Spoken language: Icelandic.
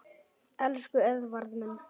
Elsku Eðvarð minn.